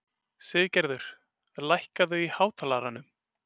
Siggerður, lækkaðu í hátalaranum.